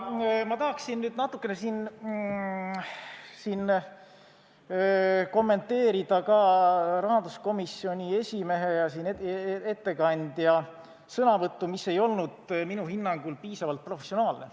Ma tahaksin natukene kommenteerida ka rahanduskomisjoni esimehe äsjast sõnavõttu, mis minu hinnangul ei olnud piisavalt professionaalne.